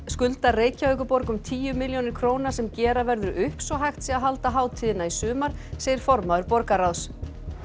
skuldar Reykjavíkurborg um tíu milljónir króna sem gera verður upp svo hægt sé að halda hátíðina í sumar segir formaður borgarráðs